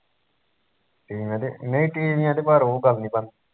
ਟੀਵੀਆ ਤੇ ਨਹੀਂ ਟੀਵੀਆ ਤੇ ਪਰ ਉਹ ਗੱਲ ਨੀ ਬਣਦੀ